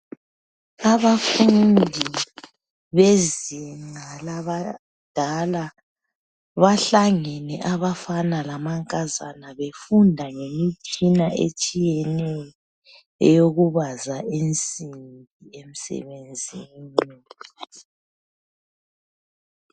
Abafundi bezinga labadala, bahlangene abafana lamankazana befunda ngemitshina etshiyeneyo eyokubaza insimbi emsebenzini.